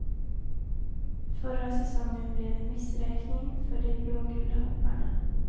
Förra säsongen blev en missräkning för de blågula hopparna.